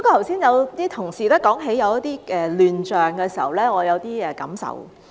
剛才同事提及一些亂象的時候，我有一些感受。